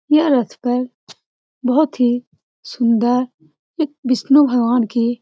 यह रथ पर बहुत ही सुन्दर एक विष्णु भगवान के --